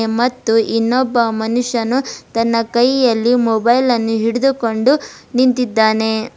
ಮತ್ತು ಇನ್ನೊಬ್ಬ ಮನುಷ್ಯನು ತನ್ನ ಕೈಯಲ್ಲಿ ಮೊಬೈಲನ್ನು ಹಿಡಿದುಕೊಂಡು ನಿಂತಿದ್ದಾನೆ.